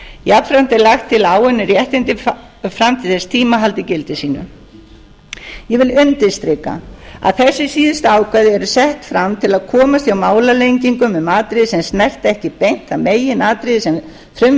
jafnframt er lagt til að áunnin réttindi fram til þess tíma haldi gildi sínu ég vil undirstrika að þessi síðustu ákvæði eru sett fram til að komast hjá málalengingum um atriði sem snerta ekki beint það meginatriði sem frumvarpið fjallar